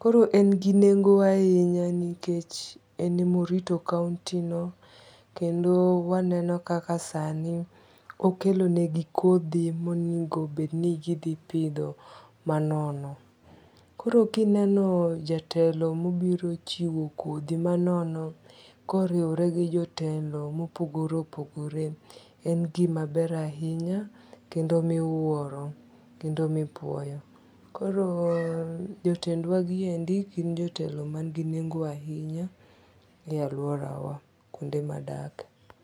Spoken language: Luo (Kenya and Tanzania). Koro en gi nengo ahinya nikech en emorito kaunti no. Kendo waneno kaka sani kokelonegi kodhi monego bed ni gidhi pidho manono. Koro kineno jatelo mobiro chiwo kodhi manono koriwore gi jotelo mopogore opogore. En gimaber ahinya kendo miwuoro kendo mipuoyo. Koro jotendwa gi endi gin jotelo man gi nengo ahinya e aluora wa kuonde madake.